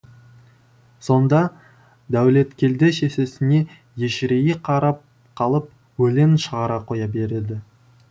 сонда дәулеткелді шешесіне ежірейе қарап қалып өлең шығара қоя береді